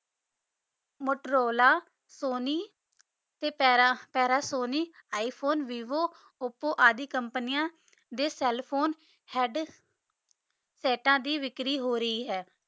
Motorola Sony ਤੇ ਪਰ ਪਰ ਸੋਨੀ ਆਇਫੋਨੇ ਵਿਵੋ ਆਲੀ ਕੋਮ੍ਪਾਨਿਯਾਂ ਦੇ cell phone ਹੇਅਦ੍ਸੇਤਨ ਦੀ ਵਿਕਰੀ ਹੋ ਰੀ ਆਯ